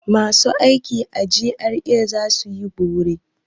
Masu aiki a GRA za su yi bore.